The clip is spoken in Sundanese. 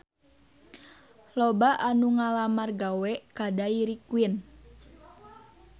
Loba anu ngalamar gawe ka Dairy Queen